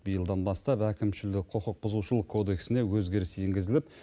биылдан бастап әкімшілік құқық бұзушылық кодексіне өзгеріс енгізіліп